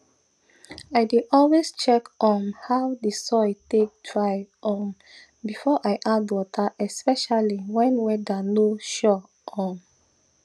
i dey always check um how the soil take dry um before i add water especially when weather no sure um